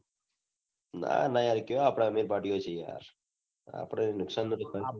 ના ના કે એવા આપડે અમીર party ઓ છે યાર આપડે એવું નુકસાન હા